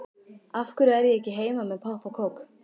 Af hverju er ég ekki heima með popp og kók?